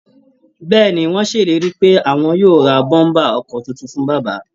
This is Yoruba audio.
Bẹ́ẹ̀ ni, wọ́n ṣèlérí pé àwọn yóò ra bọ́m̀bà ọkọ̀ tuntun fún bàbá